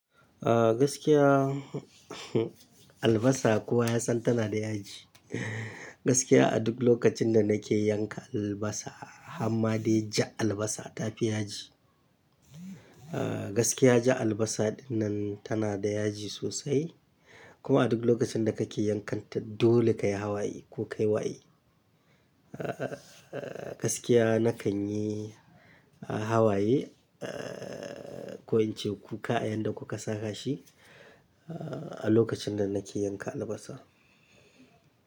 Ah gaskiya, albasa kuwa ya san tana da yaji. Gaskiya a duk lokacin da nake yanka albasa, hamadai jan albasa ta fi yaji. Ah gaskiya jan albasa dinnan tana da yaji sosai kuma a duk lokacin da kake yankanta dole kayi hawaye ko kai waye. Ah gaskiya nakan yi hawaye ah ko in ce kuka a yanda kuka saka shi ah a lokacin da nake yanka albasa.